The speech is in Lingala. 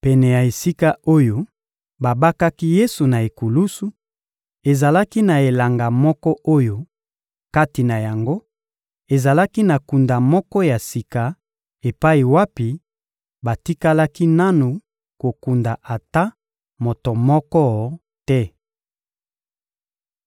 Pene ya esika oyo babakaki Yesu na ekulusu, ezalaki na elanga moko oyo, kati na yango, ezalaki na kunda moko ya sika epai wapi batikalaki nanu kokunda ata moto moko te.